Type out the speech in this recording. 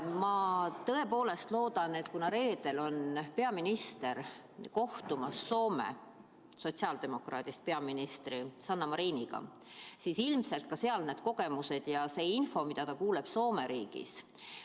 Ma tõepoolest loodan, et kuna reedel on peaminister kohtumas Soome sotsiaaldemokraadist peaministri Sanna Mariniga, siis ilmselt kuuleb ta Soome riigis nende kogemustest ja saab infot.